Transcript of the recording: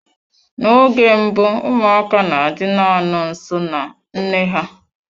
Na oge mbụ ụmụaka na-adị na-anọ nso na nne ha.